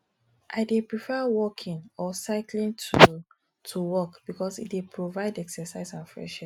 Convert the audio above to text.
i dey prefer walking or cycling to to work because e dey provide exercise and fresh air